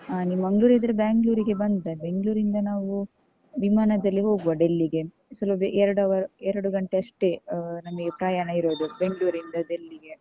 ಆ, ನೀನ್ Mangalore ಇದ್ರೆ Bangalore ಗೆ ಬಂದರೆ ಬೆಂಗ್ಳೂರಿಂದ ನಾವು ವಿಮಾನದಲ್ಲಿ ಹೋಗ್ವ Delhi . ಎರಡ್ hour ಎರಡು ಗಂಟೆಯಷ್ಟೇ, ನಮ್ಗೆ ಪ್ರಯಾಣ ಇರುದು, ಬೆಂಗ್ಳೂರಿಂದ Delhi .